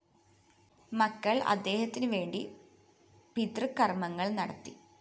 മക്കള്‍ അദ്ദേഹത്തിനുവേണ്ടി പിതൃ കര്‍മ്മങ്ങള്‍ നടത്തി